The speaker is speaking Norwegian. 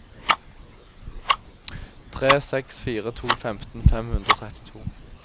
tre seks fire to femten fem hundre og trettito